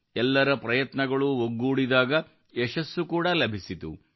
ಎಲ್ಲರ ಪ್ರಯತ್ನಗಳೂ ಒಗ್ಗೂಡಿದಾಗ ಯಶಸ್ಸು ಕೂಡ ಲಭಿಸಿತು